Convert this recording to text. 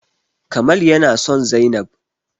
Kamal yana son zainab